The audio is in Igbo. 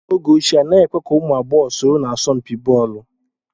N'oge ochie, anaghị èkwe ka ụmụ agbọghọ soro na asọmpi bọọlu